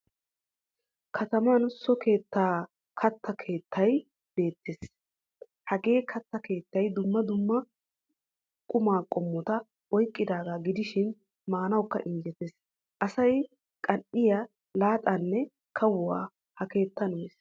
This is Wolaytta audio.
Kataman so keetta katta keettaay betees. Hagee katta keettay dumma dumma quma qommota oyqqidaga gidishin maanawukka injjetees. Asay qan"iyaa, laaxaanne kawuwaa ha keettan mees.